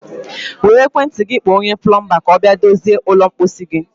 Were ekwentị gị kpọọ onye plọmbaa ka ọ bịa dozie ụlọ mposi gị.